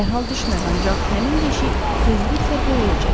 Dərhal düşməz, ancaq həmin deşik tezliklə böyüyəcək.